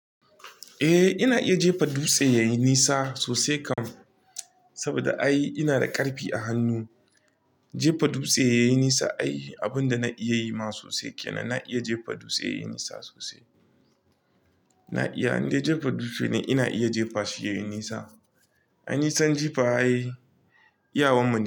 Eh ina iya jefa dutse yayi nisa sosai kam, saboda ai ina da ƙarfi a hannu. Jefa dutse yayi nisa ai abin da na iya yi ma sosai kenan. Na iya jefa dutse yayi nisa sosai. Na iya, in dai jefa dutse ne ina iya jefa shi yayi nisa. Ai nisan jefa ai, iyawan mu ne.